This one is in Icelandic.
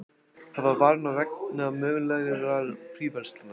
Hafa varann á vegna mögulegrar fríverslunar